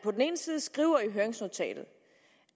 skriver i høringsnotatet